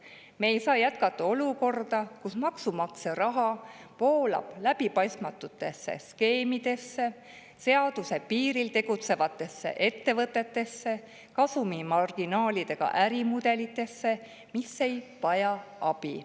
Me ei saa jätkata olukorda, kus maksumaksja raha voolab läbipaistmatutesse skeemidesse, kasumimarginaaliga ärimudeliga ja seaduse piiril tegutsevatesse ettevõtetesse, mis ei vaja abi.